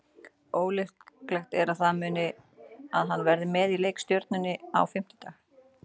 Ólíklegt er þó að hann verði með í leik gegn Stjörnunni á fimmtudag.